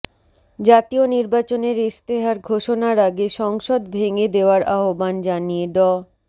জাতীয় নির্বাচনের ইশতেহার ঘোষণার আগে সংসদ ভেঙে দেওয়ার আহ্বান জানিয়ে ড